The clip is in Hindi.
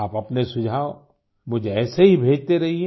आप अपने सुझाव मुझे ऐसे ही भेजते रहिए